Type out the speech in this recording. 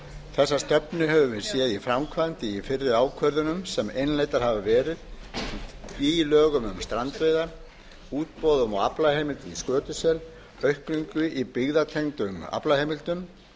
þessa stefnu höfum við séð í framkvæmd í fyrri ákvörðunum sem innleiddar hafa verið í lögum um strandveiðar útboðum á aflaheimildum í skötusel aukningu í byggðatengdum aflaheimildum